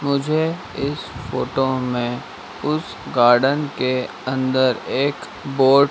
मुझे इस फोटो में उस गार्डन के अंदर एक बोर्ड --